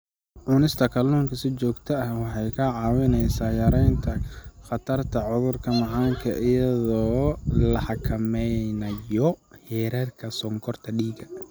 Cunista kalluunka si joogto ah waxay kaa caawinaysaa yaraynta khatarta cudurka macaanka iyadoo la xakameynayo heerarka sonkorta dhiigga.